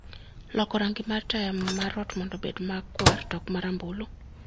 loko rangi mar taya mar ot mondo obed makwar to ok ma rambulu